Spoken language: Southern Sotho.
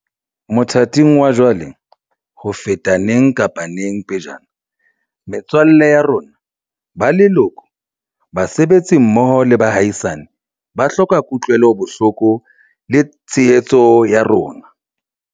Mothating wa jwale, ho feta neng kapa neng pejana, metswalle ya rona, ba leloko, basebetsi mmoho le baahisane, ba hloka kutlwelo bohloko le tshehetso ya rona.